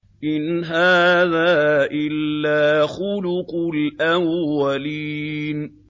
إِنْ هَٰذَا إِلَّا خُلُقُ الْأَوَّلِينَ